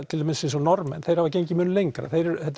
til dæmis eins og Norðmenn þeir hafa gengið mjög lengra